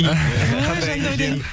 ой жандаурен